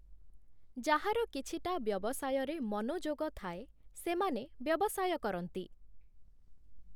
ଯାହାର କିଛିଟା ବ୍ୟବସାୟରେ ମନୋଯୋଗ ଥାଏ, ସେମାନେ ବ୍ୟବସାୟ କରନ୍ତି ।